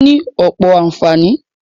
Ó ní ọ̀pọ̀ ànfàní.